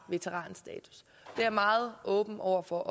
jeg meget åben over for